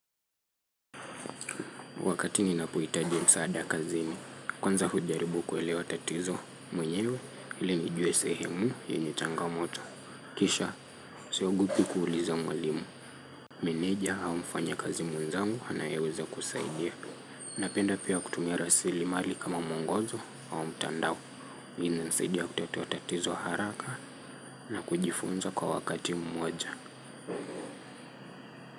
Wakati ninapohitaji msaada kazini, kwanza hujaribu kuelewa tatizo mwenyewe ili nijue sehemu yenye changamoto. Kisha, siogopi kuuliza mwalimu. Meneja au mfanyakazi mwenzangu anayeweza kusaidia. Napenda pia kutumia rasilimali kama mwongozo au mtandao. Inanisaidia kutatua tatizo haraka na kujifunza kwa wakati mmoja.